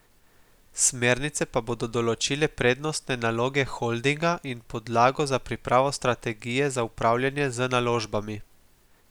Smernice pa bodo določile prednostne naloge holdinga in podlago za pripravo strategije za upravljanje z naložbami.